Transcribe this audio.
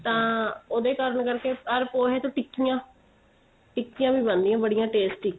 ਤਾਂ ਉਹਦੇ ਕਾਰਨ ਕਰਕੇ or ਪੋਹੇ ਚੋ ਟਿਕੀਆਂ ਟਿਕੀਆਂ ਵੀ ਬਣਦੀਆਂ ਬੜੀ tasty